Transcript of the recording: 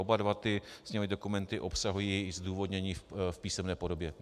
Oba dva sněmovní dokumenty obsahují i zdůvodnění v písemné podobě.